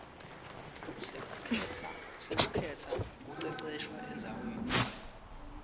lekukhetsa kuceceshwa endzaweni